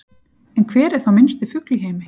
En hver er þá minnsti fugl í heimi?